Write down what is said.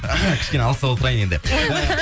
кішкене алыстау отырайын енді